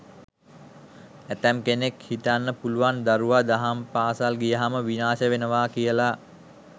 ඇතැම් කෙනෙක් හිතන්න පුළුවන් දරුවා දහම් පාසල් ගියහම විනාශ වෙනවා කියලා.